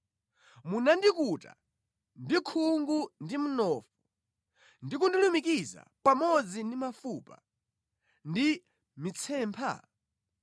Munandikuta ndi khungu ndi mnofu ndi kundilumikiza pamodzi ndi mafupa ndi mitsempha?